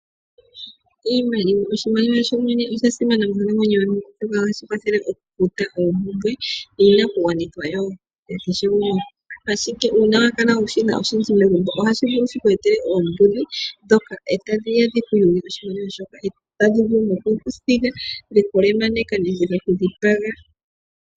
Iimaliwa Oshimaliwa sho shene osha simana monkalamwenyo yomuntu, oshoka ohashi kwathele okufuta oompumbwe niinakugwanithwa ya kehe gumwe. Uuna wa kala wu shina oshindji megumbo ohashi vulu shi ku etele oombudhi ndhoka tadhi ya dhi ku yuge oshimaliwa shoye shoka, tadhi vulu noku ku thiga dhe ku lemaneka nenge dhe ku dhipaga.